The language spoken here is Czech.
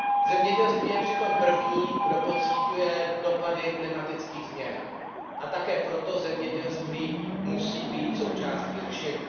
Zemědělství je přitom první, kdo pociťuje dopady klimatických změn. Také proto zemědělství musí být součástí řešení.